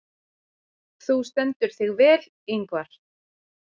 Þú stendur þig vel, Yngvar!